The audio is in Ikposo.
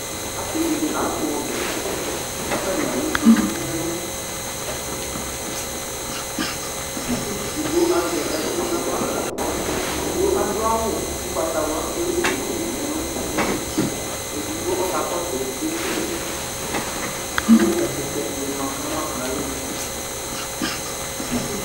asi dini atu ɔbɛ ku atani alʋ kpolu nu ɛlu edigbo azɛ ɛku nu aɣlaku aɖu awʋ ugbatawla ku ewu duku nu elʋ edigbo ɔkakɔsu itsɛdi ku ɛkutɛ ni ma kama nʋ alɔnu